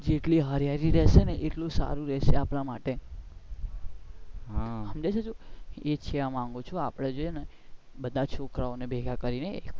જેટલી હરિયાળી રેસે ને એટલું સારું રેસે આપણા માટે સમજે છે તું એ જ કેવા માંગુ છું આપણે છે ને બધા છોકરાઓ ને ભેગા કરી ને